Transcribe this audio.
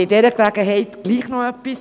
Bei dieser Gelegenheit noch etwas.